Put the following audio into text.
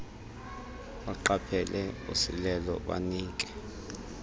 beqaphele usilelo banike